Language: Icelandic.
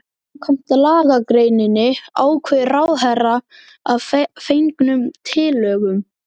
Samkvæmt lagagreininni ákveður ráðherra að fengnum tillögum